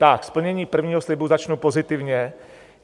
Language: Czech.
Tak splnění prvního slibu - začnu pozitivně.